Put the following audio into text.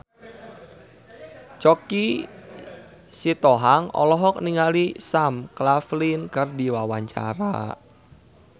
Choky Sitohang olohok ningali Sam Claflin keur diwawancara